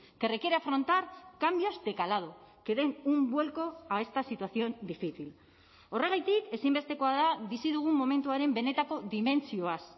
que requiere afrontar cambios de calado que den un vuelco a esta situación difícil horregatik ezinbestekoa da bizi dugun momentuaren benetako dimentsioaz